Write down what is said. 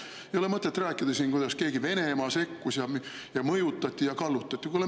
Ei ole mõtet rääkida siin, kuidas mõjutati, kallutati ja Venemaa sekkus.